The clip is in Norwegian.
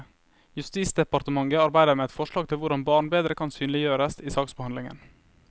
Justisdepartementet arbeider med et forslag til hvordan barn bedre kan synliggjøres i saksbehandlingen.